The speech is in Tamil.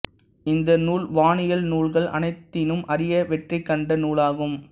இந்த நூல் வானியல் நூல்கள் அனைத்தினும் அரிய வெற்றிகண்ட நூலாகும்